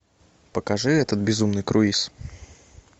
покажи этот безумный круиз